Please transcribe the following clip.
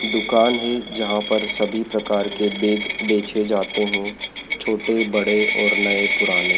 दुकान है जहां पर सभी प्रकार के बैग बेचे जाते हैं छोटे बड़े और नए पुराने--